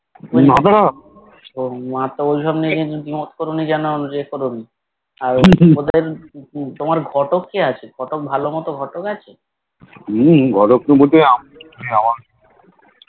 না না হুম ঘটক বলতে